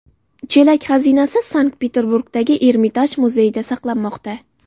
Chelak xazinasi Sankt-Peterburgdagi Ermitaj muzeyida saqlanmoqda.